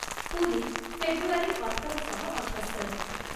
ପୁରୀ ଫେବୃଆରୀ ଅଠର ଶହ ଅଠୋସ୍ତରିରେ